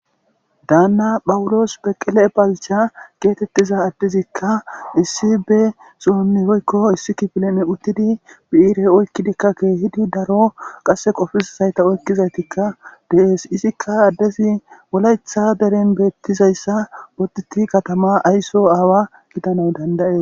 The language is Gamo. Daannaa phawulos beqele balcha geetheththiza addezikka issi be sohon woykko issi kifilen biire oykkidikka keehidi daro qassi qofissishaytha oyqqizza de7ees; izithikka addezi wolaththa deren beeththizayssa boddiththi kathamaa aysuwaa gidanawu dandda7ees.